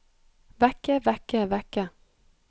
vekke vekke vekke